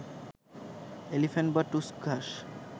elephant বা টুসক ঘাস